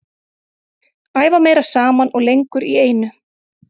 Æfa meira saman og lengur í einu.